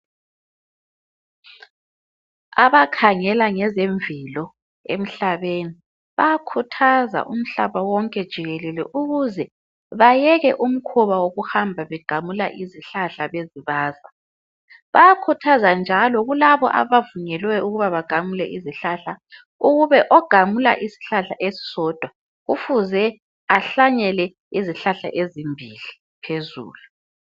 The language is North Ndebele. Abakhangela ngezemvelo emhlabeni. Bayakhuthaza umhlaba wonke jikelele ukuze bayeke umkhuba wokuhamba begamula izihlahla bezibaza. Bayakhuthaza njalo kulabo abavunyelwe ukuba bagamule izihlahla, ukube ogamula isihlahla esisodwa kufuze ahlanyele izihlahla ezimbili phezulu.